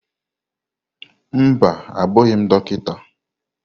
Mba, abụghị m Dọkịta.